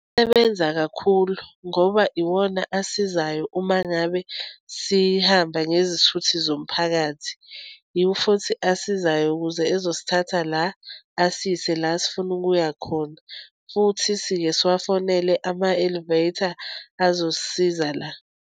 Ebenza kakhulu ngoba iwona asizayo uma ngabe sihamba ngezithuthi zomphakathi. Iwo futhi asizayo ukuze ezosithatha la, asiyise la sifuna ukuya khona, futhi siye siwafonele ama-elevator azosisiza la.